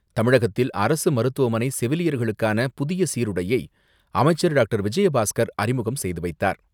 தமிழகத்தில் அரசு மருத்துவமனை செவிலியர்களுக்கான புதிய சீருடையை அமைச்சர் டாக்டர் விஜயபாஸ்கர் அறிமுகம் செய்து வைத்தார்.